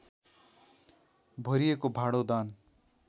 भरिएको भाँडो दान